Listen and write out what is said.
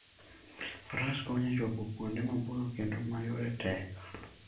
Faras konyo e chopo kuonde maboyo kendo ma yore tek.